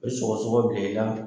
O bɛ sɔgɔɔsɔgɔ bila i la.